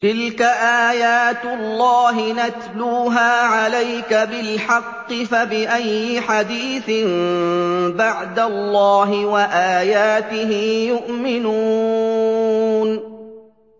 تِلْكَ آيَاتُ اللَّهِ نَتْلُوهَا عَلَيْكَ بِالْحَقِّ ۖ فَبِأَيِّ حَدِيثٍ بَعْدَ اللَّهِ وَآيَاتِهِ يُؤْمِنُونَ